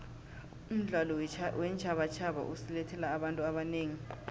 umdlalo weentjhabatjhaba usilethele abantu abanengi